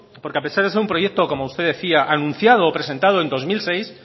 porque a pesar de ser un proyecto como usted decía anunciado o presentado en dos mil seis